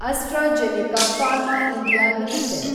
AstraZeneca pharma India limited